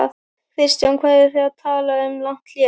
Kristján: Hvað eru þið að tala um langt hlé?